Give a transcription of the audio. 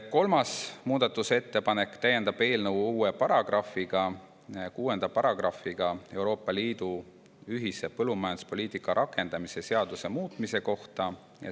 Kolmas muudatusettepanek täiendab eelnõu uue paragrahviga nr 6 Euroopa Liidu ühise põllumajanduspoliitika rakendamise seaduse muutmise kohta.